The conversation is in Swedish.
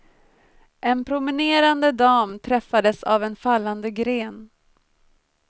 En promenerande dam träffades av en fallande gren.